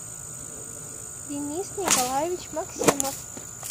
денис николаевич максимов